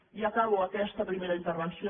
i acabo aquesta primera intervenció